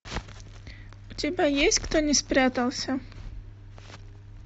у тебя есть кто не спрятался